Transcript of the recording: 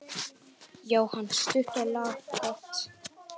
Jóhann: Stutt og laggott?